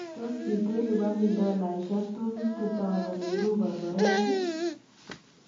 Tos kitelupani dolaisiek 250,000 iruu korkoret?